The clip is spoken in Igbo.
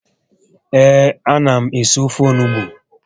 Ee, a na m esị ofe onugbu